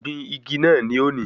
Gbìn igi naa ní òní!